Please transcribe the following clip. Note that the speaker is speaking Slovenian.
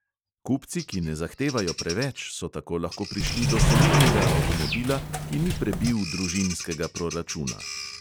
Kupci, ki ne zahtevajo preveč, so tako lahko prišli do solidnega avtomobila, ki ni prebil družinskega proračuna.